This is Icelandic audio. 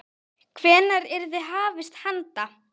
Hvenær yrði hafist handa?